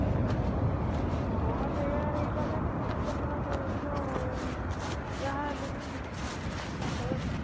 ହଁ ସେଇଆ ହେଇପାରିଲାନି କିନ୍ତୁ ଲୋକ ଯୋଉ ଯାହା ହେଲେ ବି ସେତକ ଜିନିଷ